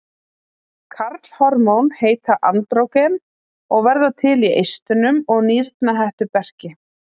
Karlhormón heita andrógen og verða til í eistunum og nýrnahettuberki.